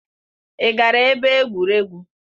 Ị gara ebe egwuregwu?